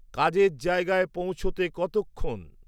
কাজের জায়গায় পৌঁছতে কতক্ষণ